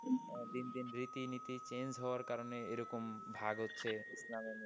দিন দিন রীতিনীতি চেঞ্জ হওয়ার কারণে এরকম ভাগ হচ্ছে ইসলামের।